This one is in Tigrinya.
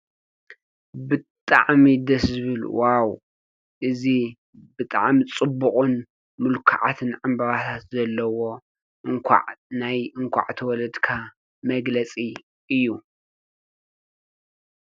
ብጣዕሚ ደስ ዝብል፡፡ ዋው እዚ ብጣዕሚ ፅቡቕን ምልኩዓትን ዕምበባታት ዘለዉዎ እንዃዕ ናይ እንዃዕ ተወለድካ መግለፂ እዩ፡፡